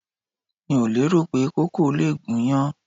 Mi ò lérò pé koko lè gúnyán.